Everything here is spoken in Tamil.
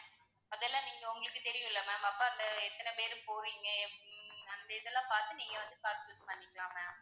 அதெல்லாம் நீங்க உங்களுக்கு தெரியும்ல ma'am அப்ப அந்த எத்தனை பேரு போவீங்க, ஹம் அந்த இதெல்லாம் பாத்து நீங்க வந்து car choose பண்ணிக்கலாம் ma'am